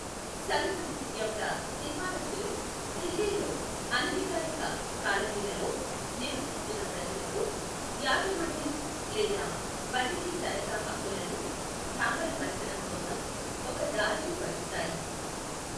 సంఘం యొక్క సిఫారసులు ఢిల్లీలో అనధికారిక కాలనీలలో నివసిస్తున్న ప్రజలకు యాజమాన్యం లేదా బదిలీ తనఖా హక్కు లను దాఖలు పరచడం కోసం ఒక దారిని పరుస్తాయి.